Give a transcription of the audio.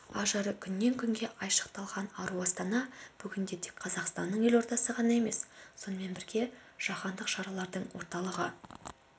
ажары күннен-күнге айшықталған ару астана бүгінде тек қазақстанның елордасы ғана емес сонымен бірге жаһандық шаралардың орталығы